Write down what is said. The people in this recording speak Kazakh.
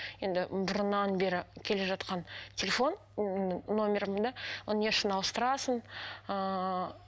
енді бұрыннан бері келе жатқан телефон номерімді оны не үшін ауыстырасың ыыы